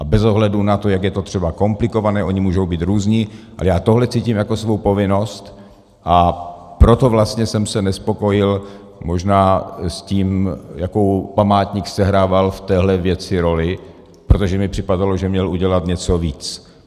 A bez ohledu na to, jak je to třeba komplikované, oni můžou být různí, ale já tohle cítím jako svou povinnost, a proto vlastně jsem se nespokojil možná s tím, jakou památník sehrával v téhle věci roli, protože mi připadalo, že měl udělat něco víc.